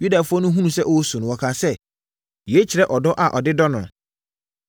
Yudafoɔ no hunuu sɛ ɔresu no, wɔkaa sɛ, “Yei kyerɛ ɔdɔ a ɔde dɔ no.”